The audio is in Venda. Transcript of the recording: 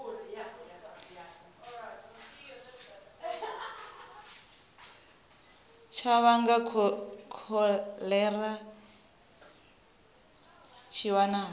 tsha vhanga kholera tshi wanala